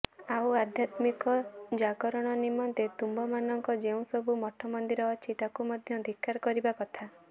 ଆଉ ଆଧ୍ୟାତ୍ମିକ ଜାଗରଣ ନିମନ୍ତେ ତୁମମାନଙ୍କର ଯେଉଁସବୁ ମଠମନ୍ଦିର ଅଛି ତାକୁ ମଧ୍ୟ ଧିକ୍କାର କରିବା କଥା